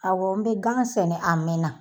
Awɔ n bɛ gan sɛnɛ a mɛɛn na.